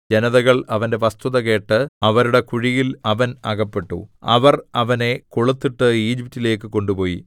ജനതകൾ അവന്റെ വസ്തുത കേട്ടു അവരുടെ കുഴിയിൽ അവൻ അകപ്പെട്ടു അവർ അവനെ കൊളുത്തിട്ട് ഈജിപ്റ്റിലേക്ക് കൊണ്ടുപോയി